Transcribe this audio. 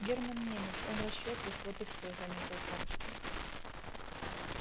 германн немец он расчётлив вот и все заметил томский